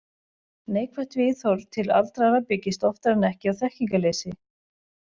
Neikvætt viðhorf til aldraðra byggist oftar en ekki á þekkingarleysi.